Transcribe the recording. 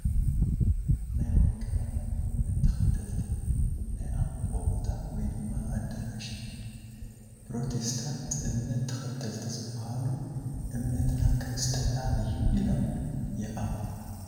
ናይ ወንጌላውያን እምነት ተኸተልቲ ናይ ኣምልኾ ቦታ ወይ ድማ ኣዳራሽ እዩ፡፡ ኘሮቴስታትን እምነት ተኸልቲ ዝባሃሉ እምነትና ክርስትና እዩ ኢሎም ይኣምኑ፡፡